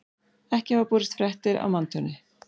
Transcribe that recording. Ekki hafa borist fréttir af manntjóni